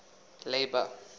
labour